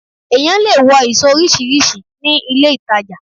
Èyàn lè wọ ìṣọ̀ oríṣiríṣi ní ilé-ìtajà